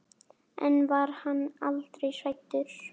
En var hann aldrei hræddur?